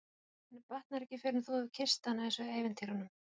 Og henni batnar ekki fyrr en þú hefur kysst hana eins og í ævintýrunum.